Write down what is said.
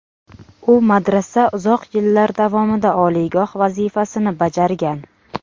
U madrasa uzoq yillar davomida oliygoh vazifasini bajargan.